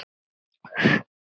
Hann kvaðst eigi vita.